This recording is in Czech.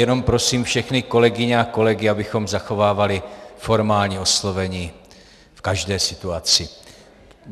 Jenom prosím všechny kolegyně a kolegy, abychom zachovávali formální oslovení v každé situaci.